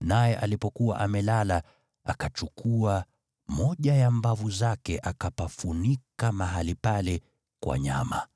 naye alipokuwa amelala akachukua moja ya mbavu zake, akapafunika mahali pale kwa nyama.